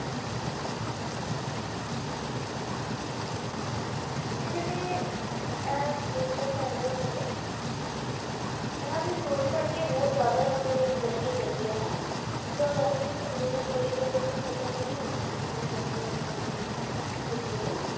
ਤੇ ਜਿਹੜੇ ਇਹ ਮਿਰਜ਼ਾ ਸਾਹਿਬਾਂ ਸੀਗੇ ਇਹਨਾਂ ਦੀ story ਪੜ੍ਹ ਕੇ ਬਹੁਤ ਜ਼ਿਆਦਾ ਮਤਲਬ interesting ਲੱਗਦੀ ਹੈ ਨਾ ਮਤਲਬ ਇਹਨਾਂ ਦੀ ਕਹਾਣੀ ਹੀ ਪੜ੍ਹੀ ਜਾਓ ਮਤਲਬ ਖ਼ਤਮ ਹੀ ਨੀ ਹੁੰਦੀਆਂ ਜਿੰਨੀ ਮਰਜ਼ੀ ਮਤਲਬ ਇਹਨਾਂ ਦੀ ਹੈਗੀ ਆ ਨਾ